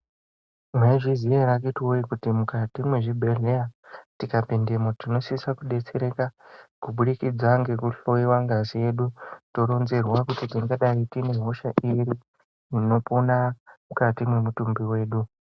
Mwaizviziya ere akhiti woye kuti mukati mwezvibhedhlera tikapindemwo tinosise kudetsereka kubudikidza ngekuhloyiwa ngazi yedu toronzerwa kuti tingadayi tine hosha iri inopona mukati mwemutumbi wedu.